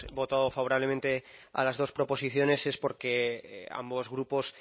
votado favorablemente a las dos proposiciones es porque ambos grupos